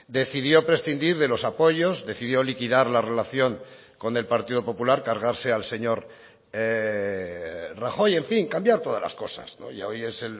decidió prescindir de los apoyos decidió liquidar la relación con el partido popular cargarse al señor rajoy en fin cambiar todas las cosas ya hoy es